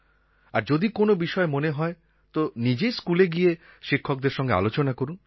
আর যদি কোনও বিষয় মনে হয় তো নিজেই স্কুলে গিয়ে শিক্ষকদের সঙ্গে আলোচনা করুন